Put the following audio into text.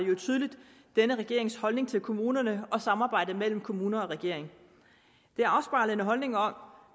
tydeligt denne regerings holdning til kommunerne og samarbejdet mellem kommuner og regering det afspejler en holdning om